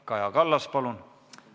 Kaja Kallas, palun!